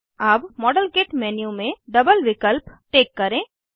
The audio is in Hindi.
अब मॉडेलकिट मेन्यू में डबल विकल्प टिक करें